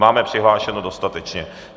Máme přihlášeno dostatečně.